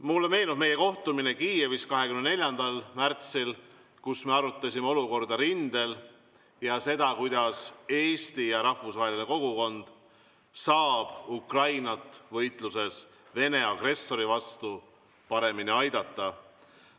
Mulle meenub meie kohtumine Kiievis 24. märtsil, kus me arutasime olukorda rindel ja seda, kuidas Eesti ja rahvusvaheline kogukond saab Ukrainat võitluses Vene agressori vastu paremini aidata.